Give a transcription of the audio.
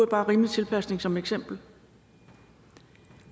bare rimelig tilpasning som eksempel